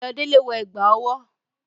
Ayodele wọ ẹ̀gbà ọwọ́.